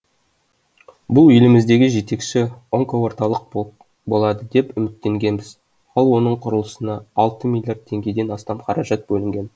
бұл еліміздегі жетекші онкоорталық болады деп үміттенгенбіз ал оның құрылысына алты миллиард теңгеден астам қаражат бөлінген